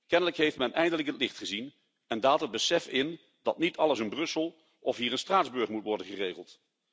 Kennelijk heeft men eindelijk het licht gezien en daalt het besef in dat niet alles in Brussel of hier in Straatsburg moet worden geregeld.